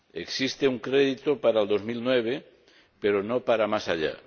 existe un crédito para 2009, pero no para más allá.